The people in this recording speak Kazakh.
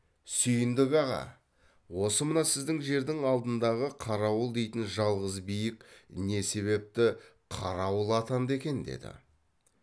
сүйіндік аға осы мына сіздің жердің алдындағы қарауыл дейтін жалғыз биік не себепті қарауыл атанды екен деді